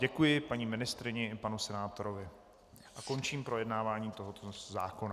Děkuji paní ministryni i panu senátorovi a končím projednávání tohoto zákona.